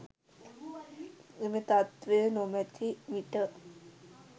මෙම තත්ත්වය නොමැති විට